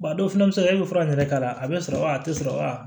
a dɔw fana bɛ se ka kɛ e bɛ fura in yɛrɛ k'a la a bɛ sɔrɔ wa a tɛ sɔrɔ